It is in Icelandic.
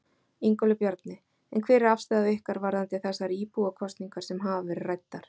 Ingólfur Bjarni: En hver er afstaða ykkar varðandi þessar íbúakosningar sem hafa verið ræddar?